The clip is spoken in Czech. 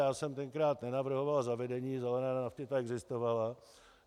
Já jsem tenkrát nenavrhoval zavedení zelené nafty, ta existovala.